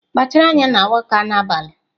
Kpachara anya na Awka n'abalị!